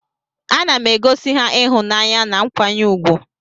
Anam egosi ha ihunanya na nkwanye ugwu.